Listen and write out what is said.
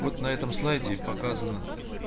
вот на этом слайде и показано